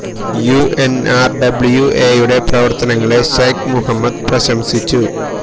U N R W A യുടെ പ്രവര്ത്തനങ്ങളെ Sheikh Mohammed പ്രശംസിച്ചു